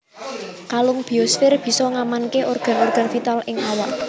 Kalung biosfér bisa ngamanaké organ organ vital ing awak